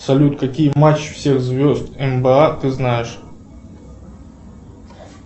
салют какие матчи всех звезд нба ты знаешь